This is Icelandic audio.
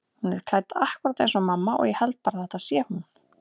Hún er klædd akkúrat eins og mamma og ég held bara að þetta sé hún.